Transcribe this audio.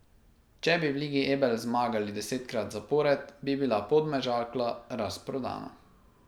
Če bi v Ligi Ebel zmagali desetkrat zapored, bi bila Podmežakla razprodana.